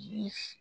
Ji f